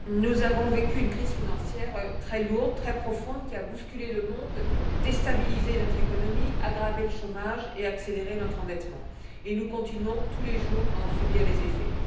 Madame la Présidente, nous avons vécu une crise financière très lourde, très profonde, qui a bousculé le monde, déstabilisé notre économie, aggravé le chômage et accéléré notre endettement, et nous continuons tous les jours à en subir les effets.